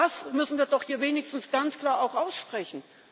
Das müssen wir doch hier wenigstens ganz klar auch aussprechen.